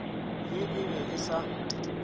ye e be e sa